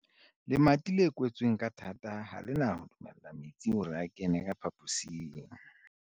Lemati le kwetsweng ka thata ha le na ho dumella metsi hore a kene ka phaposing.